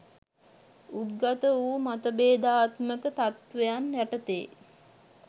උද්ගත වූ මතභේදාත්මක තත්ත්වයන් යටතේ